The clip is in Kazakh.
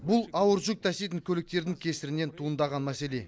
бұл ауыр жүк таситын көліктердің кесірінен туындаған мәселе